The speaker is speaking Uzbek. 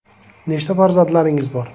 Nechta farzandlaringiz bor?